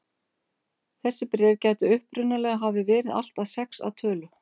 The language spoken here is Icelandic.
Þessi bréf gætu upprunalega hafa verið allt að sex að tölu.